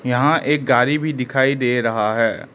यहां एक गाड़ी भी दिखाई दे रहा है।